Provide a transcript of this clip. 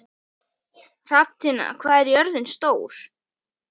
Thomas hvíslaði Stefán, svo lágt að vart heyrðist.